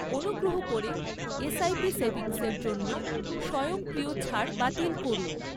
অনুগ্রহ করে এসআইপি সেভিংসের জন্য স্বয়ংক্রিয় ছাড় বাতিল করুন।